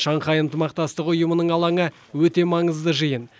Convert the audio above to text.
шанхай ынтымақтастық ұйымының алаңы өте маңызды жиын